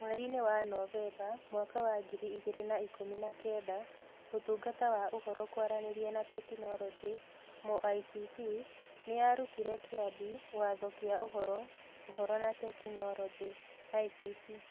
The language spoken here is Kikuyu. Mweri-inĩ wa Novemba mwaka wa ngiri igĩrĩ na ikũmi na kenda, Ũtungata wa Ũhoro, Kwaranĩria na Teknoroji (MoICT) nĩ yarutire Kĩambi Watho kĩa Ũhoro, Ũhoro na Teknoroji (ICT)